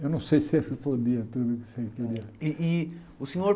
Eu não sei se eu respondia tudo o que você queria. E e o senhor